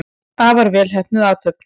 Afar vel heppnuð athöfn.